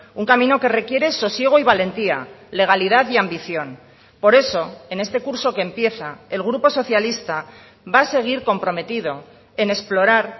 un camino que requiere sosiego y valentía legalidad y ambición por eso en este curso que empieza el grupo socialista va a seguir comprometido en explorar